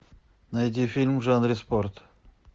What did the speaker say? найди фильм в жанре спорт